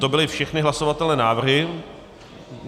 To byly všechny hlasovatelné návrhy.